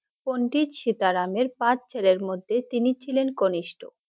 পণ্ডিত সীতারামের পাঁচ ছেলের মধে তিনি ছিলেন কনিষ্ঠ ।